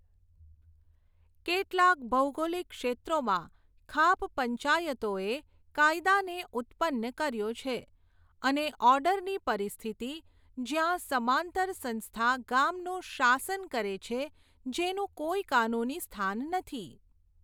કેટલાક ભૌગોલિક ક્ષેત્રોમાં ખાપ પંચાયતોએ કાયદાને ઉત્પન્ન કર્યો છે અને ઓર્ડરની પરિસ્થિતિ, જ્યાં સમાંતર સંસ્થા ગામનું શાસન કરે છે, જેનું કોઈ કાનૂની સ્થાન નથી.